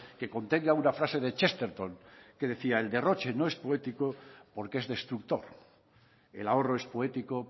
que contenga una frase de chesterton que decía el derroche no es poético porque es destructor el ahorro es poético